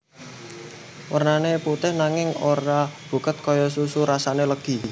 Wernané putih nanging ora buket kaya susu rasane legi